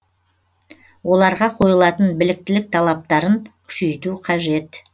оларға қойылатын біліктілік талаптарын күшейту қажет